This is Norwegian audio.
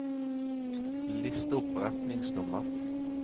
list opp retningsnummer